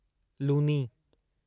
Luni